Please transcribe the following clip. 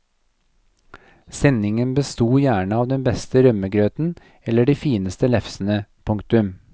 Sendingen bestod gjerne av den beste rømmegrøten eller de fineste lefsene. punktum